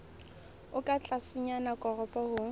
o ka tlasenyana koporo ho